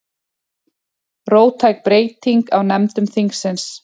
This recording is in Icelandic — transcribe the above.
Róttæk breyting á nefndum þingsins